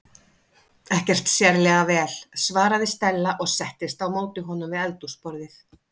Ekki sérlega vel- svaraði Stella og settist á móti honum við eldhúsborðið.